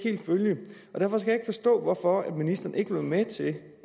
forstå hvorfor ministeren ikke vil være med til